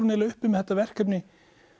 eiginlega uppi með þetta verkefni